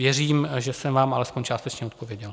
Věřím, že jsem vám alespoň částečně odpověděl.